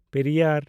Periyar